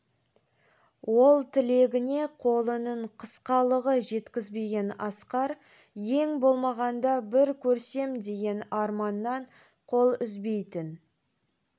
ол тілегіне қолының қысқалығы жеткізбеген асқар ең болмағанда бір көрсем деген арманнан қол үзбейтін